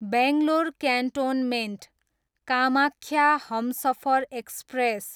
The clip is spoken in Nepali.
Bangalore cantonment, Kamakhya Humsafar express